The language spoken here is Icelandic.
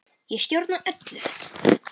Ég stjórna öllu.